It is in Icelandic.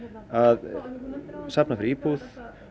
að safna fyrir íbúð